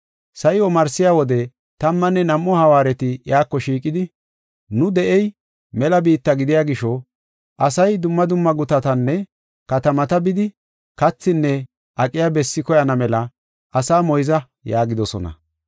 Sa7i omarsiya wode tammanne nam7u hawaareti iyako shiiqidi, “Nu de7ey mela biitta gidiya gisho asay dumma dumma gutatanne katamata bidi, kathinne aqiya bessi koyana mela asaa moyza” yaagidosona.